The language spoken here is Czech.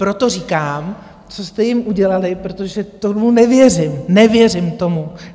Proto říkám, co jste jim udělali, protože tomu nevěřím, nevěřím tomu.